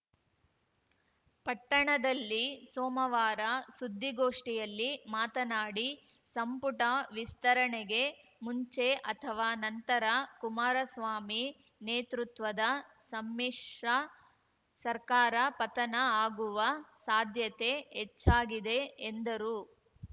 ಪಟ್ಟಣದಲ್ಲಿ ಸೋಮವಾರ ಸುದ್ದಿಗೋಷ್ಠಿಯಲ್ಲಿ ಮಾತನಾಡಿ ಸಂಪುಟ ವಿಸ್ತರಣೆಗೆ ಮುಂಚೆ ಅಥವಾ ನಂತರ ಕುಮಾರಸ್ವಾಮಿ ನೇತೃತ್ವದ ಸಮ್ಮಿಶ್ರ ಸರ್ಕಾರ ಪತನ ಆಗುವ ಸಾಧ್ಯತೆ ಹೆಚ್ಚಾಗಿದೆ ಎಂದರು